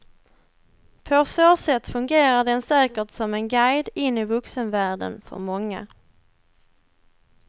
På så sätt fungerar den säkert som en guide in i vuxenvärlden för många.